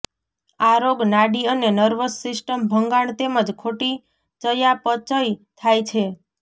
આ રોગ નાડી અને નર્વસ સિસ્ટમ ભંગાણ તેમજ ખોટી ચયાપચય થાય છે